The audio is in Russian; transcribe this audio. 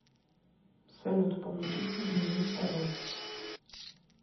салют помогите изменить пароль